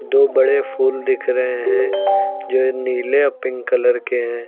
दो बड़े फूल दिख रहे हैं जो ये नीले और पिंक कलर के हैं।